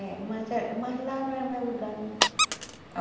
É, mas é mas lá não é meu lugar, não.